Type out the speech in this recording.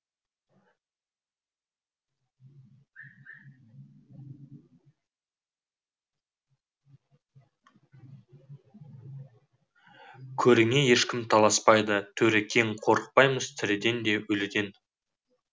іікөріңе ешкім таласпайды төрі кең қорықпаймыз тіріден де өліден